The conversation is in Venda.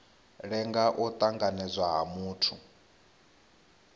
lenga u tanganedzwa ha muthu